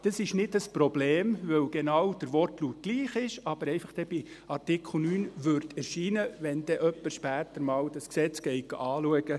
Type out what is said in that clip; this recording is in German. Es ist nicht ein Problem, weil der Wortlaut genau gleich ist, aber dann einfach bei Artikel 9 erscheinen würde, wenn jemand später einmal dieses Gesetz anschaut.